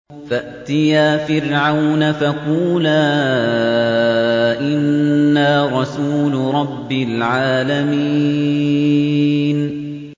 فَأْتِيَا فِرْعَوْنَ فَقُولَا إِنَّا رَسُولُ رَبِّ الْعَالَمِينَ